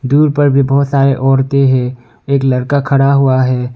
दूर पर भी बहोत सारे औरते है एक लड़का खड़ा हुआ है।